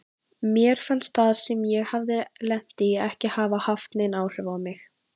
Mér fannst það sem ég hafði lent í ekki hafa haft nein áhrif á mig.